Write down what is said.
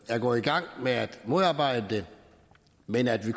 er gået i gang med at modarbejde det men at vi